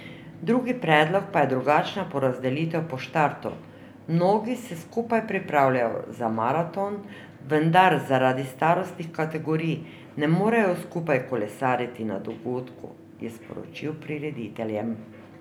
Drugi predlog pa je drugačna porazdelitev na štartu: 'Mnogi se skupaj pripravljajo za maraton, vendar zaradi starostnih kategorij ne morejo skupaj kolesariti na dogodku,' je sporočil prirediteljem.